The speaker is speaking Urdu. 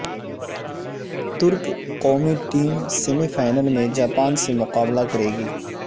ترک قومی ٹیم سیمی فائنل میں جاپان سے مقابلہ کرے گی